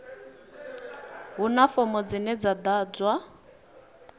huna fomo dzine dza ḓadzwa